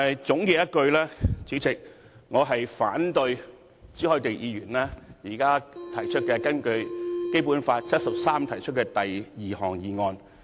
總括而言，主席，我反對朱凱廸議員現時根據《基本法》第七十三條提出的第二項議案。